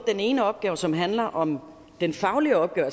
ene opgave som handler om den faglige opgave